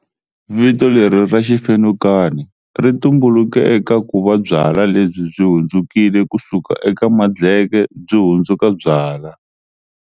Vito leri ra xifenukani ri tumbuluke eka ku va byalwa lebyi byi hundzukile ku suka eka madleke byi hundzuka byalwa.